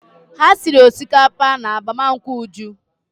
Ha siri osikapa n'agbamụnkwụ Uju.